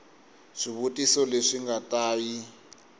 swivutiso leswi nga ta yi